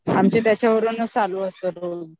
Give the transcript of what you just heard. आमच त्याच्यावरूनच चालू असतं रोज